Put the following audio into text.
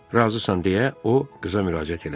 Razısan, deyə o qıza müraciət elədi.